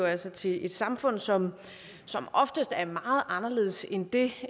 altså til et samfund som oftest er meget anderledes end det